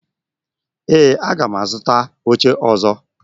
Ee, aga m azụta oche ọzọ